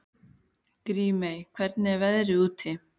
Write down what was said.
Grímey, hvernig er veðrið úti?